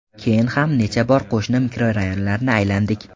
Keyin ham necha bor qo‘shni mikrorayonlarni aylandik.